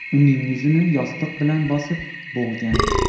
uning yuzini yostiq bilan bosib, bo‘g‘gan.